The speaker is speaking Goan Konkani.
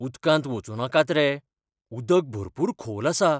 उदकांत वचूं नाकात रे. उदक भरपूर खोल आसा!